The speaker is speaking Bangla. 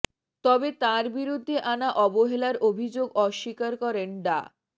তবে তাঁর বিরুদ্ধে আনা অবহেলার অভিযোগ অস্বীকার করেন ডা